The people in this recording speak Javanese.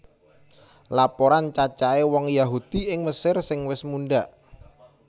Laporan cacahé wong Yahudi ing Mesir sing wis mundhak